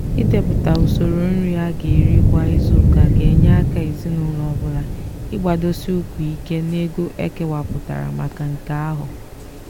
ịdepụta usoro nri a ga eri kwa izuuka ga enye aka ezinụlọ ọ bụla ịgbadosi ụkwụ ike n'ego ekewapụtara maka nke ahụ.